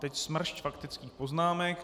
Teď smršť faktických poznámek.